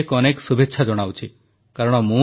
ତେବେ ଆସନ୍ତୁ ଆଜି ଏନସିସି ଦିବସ ବିଷୟରେ କିଛି କଥା ହେବା